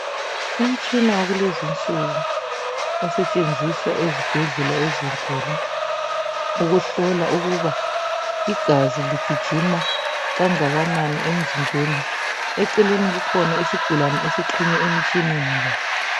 umtshina wakulezi insuku osetshenziswa ezibhedlela ezinkulu ukuhlola ukuba igazi ligijima kangakanani emzimbeni eceleni kukhona isigulane esixhunywe emtshineni lo